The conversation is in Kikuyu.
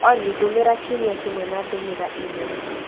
Olly ndũmĩra kiumia kĩmwe na ndũmĩra e-mail